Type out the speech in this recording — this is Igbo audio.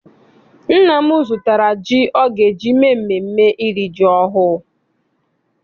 Nna m zụtara ji ọ ga eji mee mmemme iri ji ọhụụ.